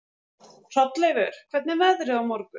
Hrolleifur, hvernig er veðrið á morgun?